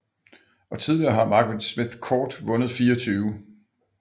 Og tidligere har Margaret Smith Court vundet 24